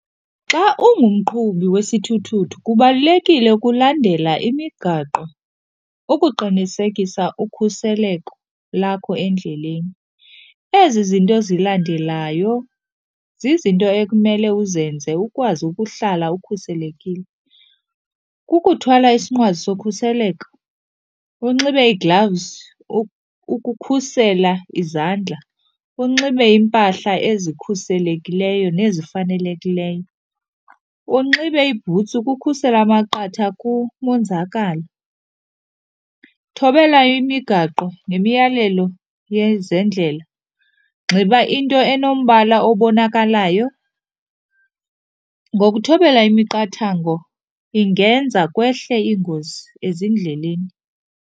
Xa ungumqhubi wesithuthuthu kubalulekile ukulandela imigaqo ukuqinisekisa ukhuseleko lakho endleleni. Ezi zinto zilandelayo zizinto ekumele uzenze ukwazi ukuhlala ukhuselekile. Kukuthwala isinqwazi sokhuseleko, unxibe iigilavuzi ukukhusela izandla, unxibe iimpahla ezikhuselekileyo nezifanelekilyo, unxibe iibhutsi ukukhusela amaqatha kumonzakalo. Thobela imigaqo nemiyalelo yezendlela, nxiba into enombala obonakalayo. Ngokuthobela imiqathango ingenza kwehle ingozi endleleni.